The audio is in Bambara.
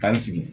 K'an sigi